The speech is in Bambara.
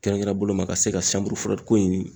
Kɛrɛnkɛrɛn boloma ka se ka ko in